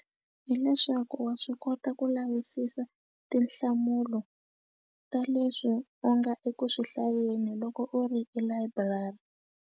Hi leswaku wa swi kota ku lavisisa tinhlamulo ta leswi u nga eku swi hlayeni loko u ri elayiburari.